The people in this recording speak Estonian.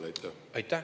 Aitäh!